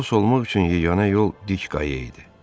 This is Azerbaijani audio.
Xilas olmaq üçün yeganə yol dik qaya idi.